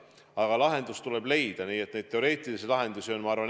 Aga lahendus tuleb leida ja mitmesuguseid teoreetilisi lahendusi on.